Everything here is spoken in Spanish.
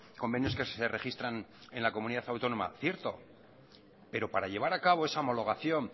convenios que se registran en la comunidad autónoma cierto pero para llevar a cabo esa homologación